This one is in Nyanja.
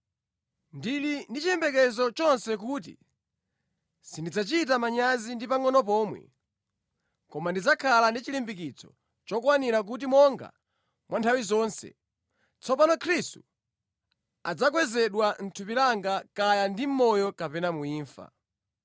Ndili ndi chiyembekezo chonse kuti sindidzachita manyazi ndi pangʼono pomwe, koma ndidzakhala ndi chilimbikitso chokwanira kuti monga mwa nthawi zonse, tsopano Khristu adzakwezedwa mʼthupi langa kaya ndi mʼmoyo kapena mu imfa.